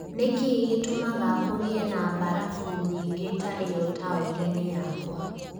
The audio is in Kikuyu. Nĩ kĩĩ gĩtũmaga kũgie na mbarabu nyingĩ ta ĩyo taũni-inĩ yakwa